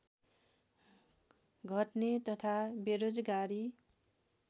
घट्ने तथा बेरोजगारी